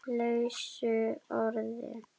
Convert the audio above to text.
lausu orði